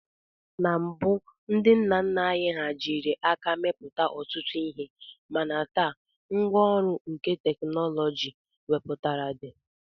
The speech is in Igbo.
Na mbụ ndị nna nna anyị hà jiri aka mepụta ọtụtụ ihe mana taa, ngwa ọrụ nke teknọlọjị wepụtara dị